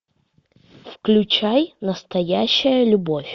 включай настоящая любовь